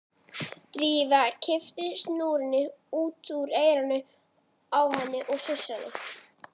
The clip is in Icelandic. Drífa kippti snúrunni út úr eyranu á henni og sussaði.